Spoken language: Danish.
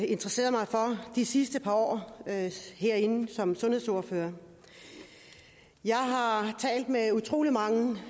interesseret mig for de sidste par år herinde som sundhedsordfører jeg har talt med utrolig mange